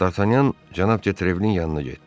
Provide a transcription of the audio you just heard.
Dartanyan cənab Jetrevlin yanına getdi.